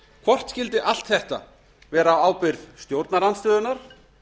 hvort skyldi allt þetta vera á ábyrgð stjórnarandstöðunnar